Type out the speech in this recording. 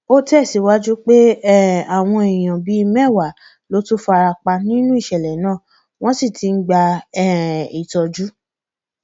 ó tẹsíwájú pé um àwọn èèyàn bíi mẹwàá ló tún fara pa nínú ìṣẹlẹ náà wọn sì ti ń gba um ìtọjú